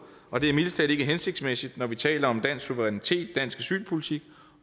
og det er mildest talt ikke hensigtsmæssigt når vi taler om dansk suverænitet dansk asylpolitik